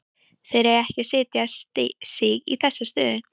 Þeir eiga ekki að setja sig í þessa stöðu.